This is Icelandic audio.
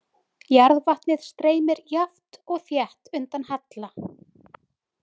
Jarðvatnið streymir jafnt og þétt undan halla.